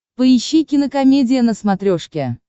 поищи кинокомедия на смотрешке